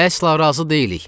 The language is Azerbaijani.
Əsla razı deyilik.